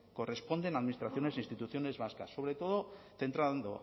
corresponden a administraciones e instituciones vascas sobre todo centrando